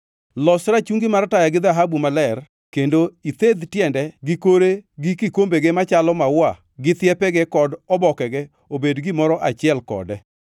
“Los rachungi mar taya gi dhahabu maler kendo ithedh tiende gi kore gi kikombege machalo maua gi thiepege kod obokege obed gimoro achiel kode.